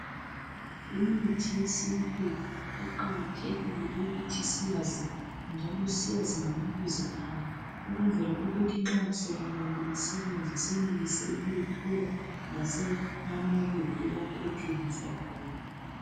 Imithi yesintu kuqakathekile ukuthi siyazi njalo siyazi ngamabizo ayo ukwenzela ukuthi nxa sokumele isebenze senelise ukuyithola lasemamakethe lapho ethengiswa khona.